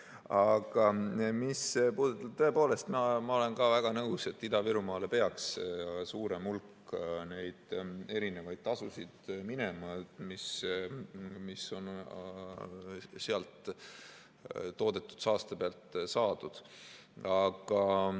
Aga tõepoolest, ma olen ka väga nõus, et Ida-Virumaale peaks suurem hulk neid erinevaid tasusid minema, mis on seal toodetud saaste pealt saadud.